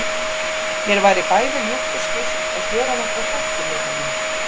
Mér væri bæði ljúft og skylt að gera nokkra þætti með honum.